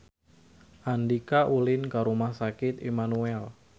Andika ulin ka Rumah Sakit Immanuel